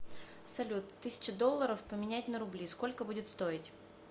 салют тысяча долларов поменять на рубли сколько будет стоить